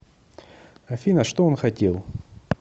афина что он хотел